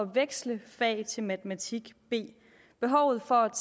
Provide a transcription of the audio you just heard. veksle fag til matematik b behovet for at